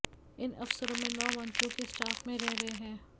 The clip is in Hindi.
इन अफसरों में नौ मंत्रियों के स्टाफ में रहे हैं